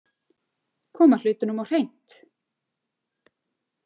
Koma hlutunum á hreint.